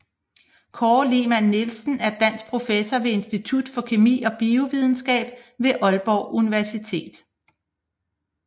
Kåre Lehmann Nielsen er dansk professor ved Institut for Kemi og Biovidenskab ved Aalborg Universitet